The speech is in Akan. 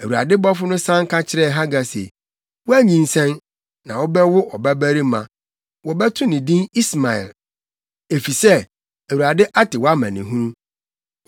Awurade bɔfo no san ka kyerɛɛ Hagar se, “Woanyinsɛn, na wobɛwo ɔbabarima. Wobɛto no din Ismael, efisɛ Awurade ate wʼamanehunu.